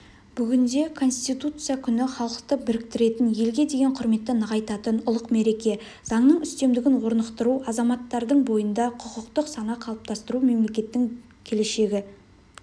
бүгінде конституция күні халықты біріктіретін елге деген құрметті нығайтатын ұлық мереке заңның үстемдігін орнықтыру азаматтардың бойында құқықтық сана қалыптастыру мемлекеттің келешегі